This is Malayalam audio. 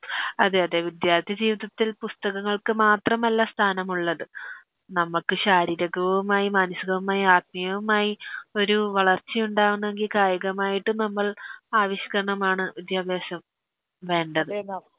അതെയതെ വിദ്യാർത്ഥി ജീവിതത്തിൽ പുസ്തകങ്ങൾക്ക് മാത്രമല്ല സ്ഥാനമുള്ളത് നമ്മക്ക് ശാരീകകുമായി മാനസ്സികവുമായ ആത്മീയവുമായി ഒരു വളർച്ച ഉണ്ടാവുന്നെങ്കി കായികമായിട്ടും നമ്മൾ ആവിഷ്ക്കരണമാണ് വിദ്യാഭ്യാസം വേണ്ടത്